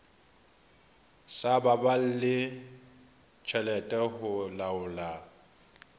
sa baballe tjhelete ho laola